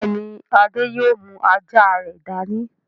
Bẹ́ẹ̀ ni, Adé yóò mú ajá rẹ̀ dání.